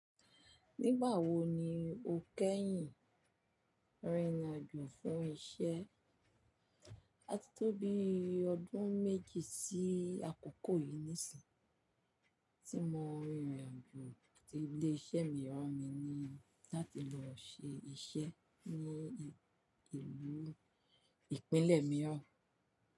Nígbà wo ni o kẹ́yìn rìnrìn àjò fún iṣẹ́? A ti tó bi ọdún méjì sí àkókò yìí ní sìn, tí mo rìnrìn àjò ti ilé iṣẹ́ mi ran mí ní láti lọ ṣe iṣẹ́ ní ìlú ìpínlẹ̀ mi ọ̀.